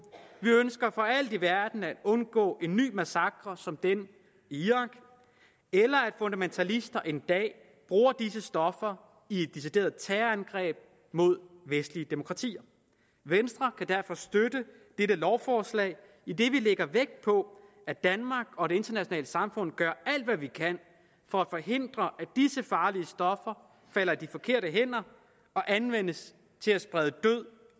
vi ønsker for alt i verden at undgå en ny massakre som den i irak eller at fundamentalister en dag bruger disse stoffer i et decideret terrorangreb mod vestlige demokratier venstre kan derfor støtte dette lovforslag idet vi lægger vægt på at danmark og det internationale samfund gør alt hvad vi kan for at forhindre at disse farlige stoffer falder i de forkerte hænder og anvendes til at sprede død